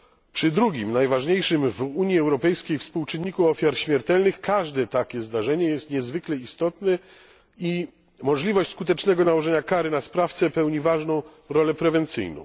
Przy drugim najważniejszym w Unii Europejskiej współczynniku ofiar śmiertelnych każde takie zdarzenie jest niezwykle istotne i możliwość skutecznego nałożenia kary na sprawcę pełni ważną rolę prewencyjną.